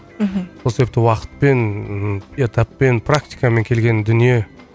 мхм сол себепті уақытпен ыыы этаппен практикамен келген дүние